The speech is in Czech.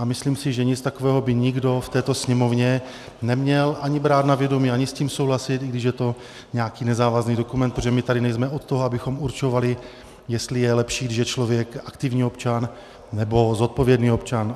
A myslím si, že nic takového by nikdo v této Sněmovně ani neměl brát na vědomí ani s tím souhlasit, i když je to nějaký nezávazný dokument, protože my tady nejsme od toho, abychom určovali, jestli je lepší, když je člověk aktivní občan, nebo zodpovědný občan.